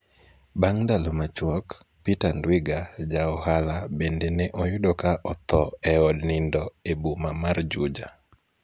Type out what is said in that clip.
Bang' ndalo machuok, Peter Ndwiga, ja ohala, bende ne oyudo ka otho e od nindo e boma mar Juja.